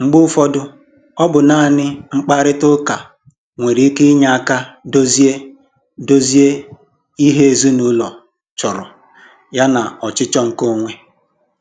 Mgbe ụfọdụ, ọ bụ naanị mkparịta ụka nwere ike inye aka dozie dozie ihe ezinụlọ chọrọ yana ọchịchọ nke onwe